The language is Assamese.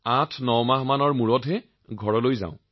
৮৯ মাহৰ পিছত ঘৰলৈ যাও